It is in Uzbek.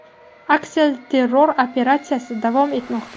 Aksilterror operatsiyasi davom etmoqda.